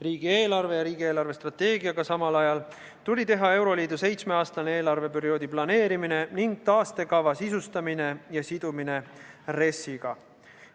Riigieelarve ja riigi eelarvestrateegiaga samal ajal tuli läbi viia euroliidu seitsmeaastase eelarveperioodi planeerimine ning taastekava sisustamine ja sidumine RES-iga.